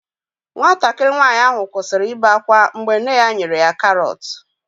Nwatakịrị nwanyị ahụ kwụsịrị ibe ákwá mgbe nne ya nyere ya karọt.